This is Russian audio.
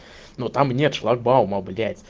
ну там нет шлагбаума блять